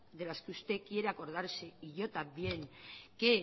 de las que usted quiere acordarse y yo también que